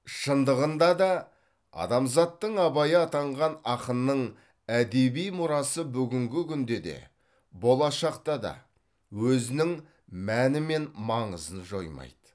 шындығында да адамзаттың абайы атанған ақынның әдеби мұрасы бүгінгі күнде де болашақта да өзінің мәні мен маңызын жоймайды